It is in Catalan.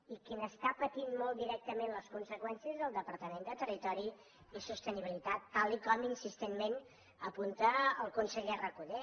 i qui n’està patint molt directament les conseqüències és el departament de territori i sostenibilitat tal com insistentment apunta el conseller recoder